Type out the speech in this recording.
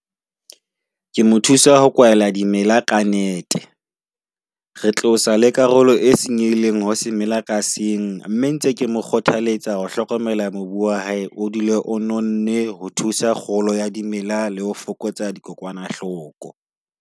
Ke mo thusa ho kwala dimela ka net-e. Re tlosa le karolo e senyehileng ho semela ka seng. Mme ntse ke mo kgothaletsa ho hlokomela mobu wa hae o dule o nonne. Ho thusa kgolo ya dimela le ho fokotsa dikokwanahloko.